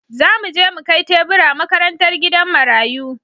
Za mu je mu kai tebura makarantar gidan marayu.